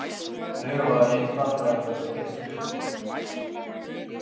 Þau hafa einfaldlega verið leyst upp.